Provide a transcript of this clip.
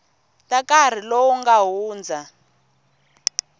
ta nkarhi lowu nga hundza